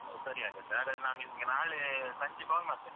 ಸರಿ ಹಾಗಾದ್ರೆ. ಹಾಗಾದ್ರೆ ನಾನ್ ನಿಮ್ಗೆ ನಾಳೆ ಸಂಜೆ call ಮಾಡ್ತೇನೆ.